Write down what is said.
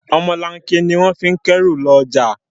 Ọ̀mọlanke ni wọ́n fi ń kẹ́ru lọ́jà